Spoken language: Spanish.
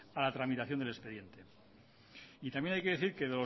a la tramitación del expediente y también hay que decir que